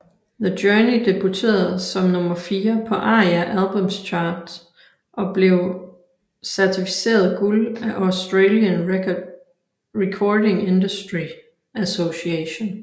The Journey debuterede som nummer fire på ARIA Albums Chart og blev certificeret guld af Australian Recording Industry Association